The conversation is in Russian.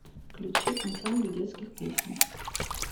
включи ансамбль детских песен